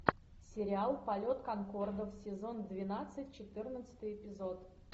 сериал полет конкордов сезон двенадцать четырнадцатый эпизод